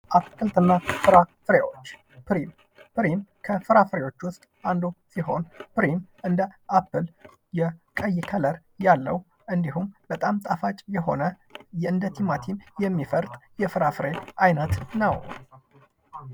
አትልክልትና ፍራፍሬዎች፦ ፕሪም፦ ፕሪም ከአትክልት ውስጥ አንዱ ሲሆን እንዲሁም ፕሪም እንደ አፕል የቀይ ከለር ያለው በጣም ጣፋጭ የሆነ እንደቲማቲም የሚፈርጥ የፍራፍሬ አይነት ነው።